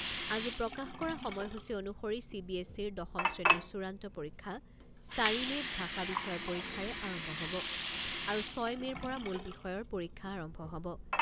আজি প্ৰকাশ কৰা সময় সূচী অনুসৰি চি বি এছ ইৰ দশম শ্ৰেণীৰ চূড়ান্ত পৰীক্ষা চাৰি মে'ত ভাষা বিষয়ৰ পৰীক্ষাৰে আৰম্ভ হ'ব আৰু ছয় মে'ৰ পৰা মূল বিষয়ৰ পৰীক্ষা আৰম্ভ হ'ব।